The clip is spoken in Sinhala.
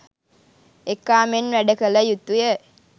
එකා මෙන් වැඩ කල යුතුයි.